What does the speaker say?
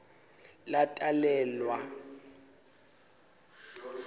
latalelwa